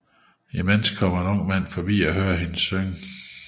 Imens kommer en ung mand forbi og hører hende synge